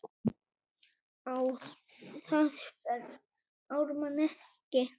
Á það fellst Ármann ekki.